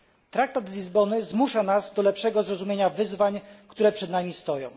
Traktat z Lizbony zmusza nas do lepszego zrozumienia wyzwań, które przed nami stoją.